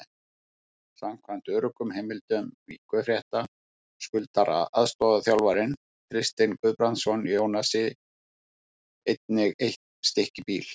Samkvæmt öruggum heimildum Víkurfrétta skuldar aðstoðarþjálfarinn Kristinn Guðbrandsson Jónasi einnig eitt stykki bíl.